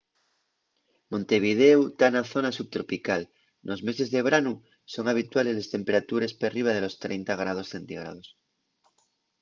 montevidéu ta na zona subtropical; nos meses de branu son habituales les temperatures perriba de los 30ºc,